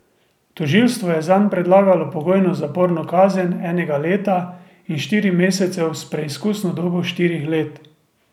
Tožilstvo je zanj predlagalo pogojno zaporno kazen enega leta in štirih mesecev s preizkusno dobo štirih let.